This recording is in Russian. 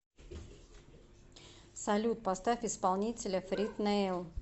салют поставь исполнителя фред нейл